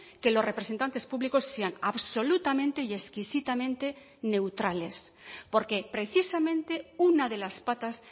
que los representantes públicos sean absolutamente y exquisitamente neutrales porque precisamente una de las patas